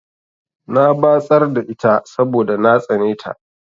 Na batsar da ita saboda na tsane ta.